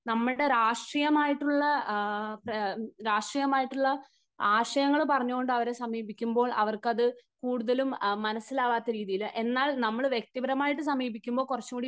നമ്മുടെ രാഷ്ട്രീയം ആയിട്ടുള്ള, രാഷ്ട്രീയം ആയിട്ടുള്ള ആശയങ്ങൾ പറഞ്ഞുകൊണ്ട് അവരെ സമീപിക്കുമ്പോൾ അവർക്ക് അത് കൂടുതലും മനസ്സിലാകാത്ത രീതിയിൽ, എന്നാൽ നമ്മൾ വ്യക്തിപരമായിട്ട് സമീപിക്കുമ്പോൾ കുറച്ചുകൂടി